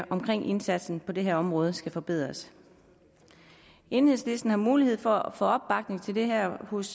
indsatsen på det her område skal forbedres enhedslisten har mulighed for at få opbakning til det her hos